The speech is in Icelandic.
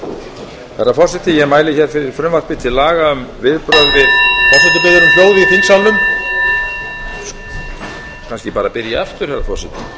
herra forseti ég mæli hér fyrir frumvarpi til laga um viðbrögð við forseti biður um hljóð í þingsalnum ég kannski bara byrja aftur herra forseti ég ætla